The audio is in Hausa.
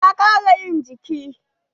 Ta ƙara yin jiki.